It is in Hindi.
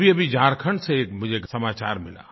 अभीअभी झारखण्ड से मुझे एक समाचार मिला